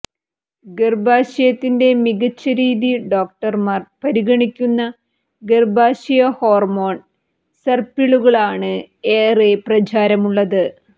ഗർഭാശയത്തിൻറെ മികച്ച രീതി ഡോക്ടർമാർ പരിഗണിക്കുന്ന ഗർഭാശയ ഹോർമോൺ സർപ്പിളുകളാണ് ഏറെ പ്രചാരമുള്ളത്